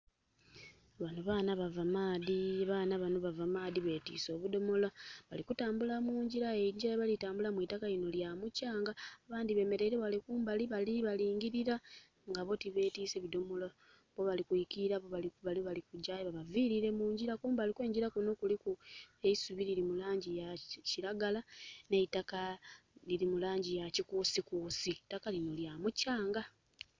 Bano baana bava maadhi, baana bano bava maadhi, betiise obudomola balikutambula mu njira aye enjira gyebali tambulamu eitaka lino lya mukyanga abandi bemeleire wale kumbali bali balingilira nga bo tibetise bidomolo. Bo bali kwikirira bale bali kujja aye babavilire munjira, kumbali kwe njira kuno kuliku eisubi liri mulangi ya kiragala n'eitakka liri mulangi ya kikusikusi. Eitaka lino lya mukyanga